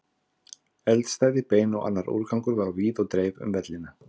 Eldstæði, bein og annar úrgangur var á víð og dreif um vellina.